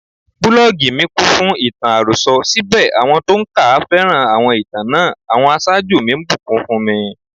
Búlọ́gì mi kúnfún ìtàn àròsọ, síbẹ̀ àwọn tó ń kà á féràn àwọn ìtàn náà; àwọn aṣáájú mi ńbùkún fúnmi.